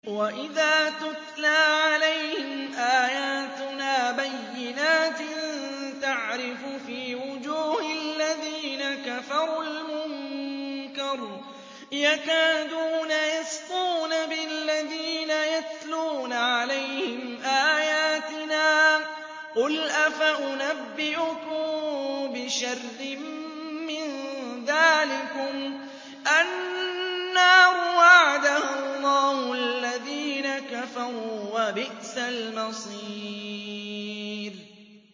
وَإِذَا تُتْلَىٰ عَلَيْهِمْ آيَاتُنَا بَيِّنَاتٍ تَعْرِفُ فِي وُجُوهِ الَّذِينَ كَفَرُوا الْمُنكَرَ ۖ يَكَادُونَ يَسْطُونَ بِالَّذِينَ يَتْلُونَ عَلَيْهِمْ آيَاتِنَا ۗ قُلْ أَفَأُنَبِّئُكُم بِشَرٍّ مِّن ذَٰلِكُمُ ۗ النَّارُ وَعَدَهَا اللَّهُ الَّذِينَ كَفَرُوا ۖ وَبِئْسَ الْمَصِيرُ